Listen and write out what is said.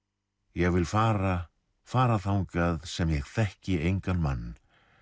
ég vil fara fara þangað sem ég þekki engan mann